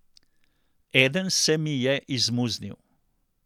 Eden se mi je izmuznil.